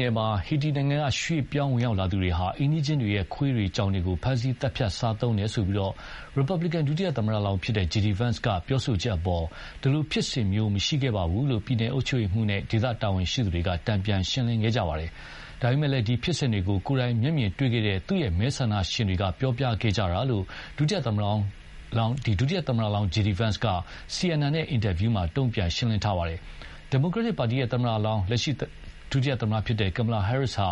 နယ်မှာ ဟေတီနိုင်ငံက ရွှေ့ပြောင်းဝင်ရောက်သူတွေဟာ အိမ်နီးချင်းတွေရဲ့ ခွေးတွေ ကြောင်တွေကိုဖမ်းဆီးသတ်ဖြတ် စားသုံးတယ်ဆိုပြီး ရီပတ်ဘလီကန်ဒုသမ္မတလောင်း JD Vance က ပြောဆိုချက်အပေါ် ဒီလိုဖြစ်စဉ်မျိုးမရှိခဲ့ပါဘူးလို့ ပြည်နယ်အုပ်ချုပ်ရေးမှူးနဲ့ ဒေသတာဝန်ရှိသူတွေက တန်ပြန်ရှင်းလင်းခဲ့ကြပါတယ်။ ဒါပေမယ့်လည်း ဒီဖြစ်စဉ်တွေကို ကိုယ်တိုင်မျက်မြင်တွေ့ခဲ့တဲ့ သူ့ မဲဆန္ဒရှင်တွေက ပြောပြခဲ့ကြတာလို့ ဒုသမ္မတလောင်းJD Vance က CNN နဲ့ အင်တာဗျူးမှာ တုံ့ပြန်ရှင်းလင်းပါတယ်။ ဒီမိုကရက်တစ်ပါတီသမ္မတလောင်း လက်ရှိ ဒုသမ္မတKamala Harris ဟာ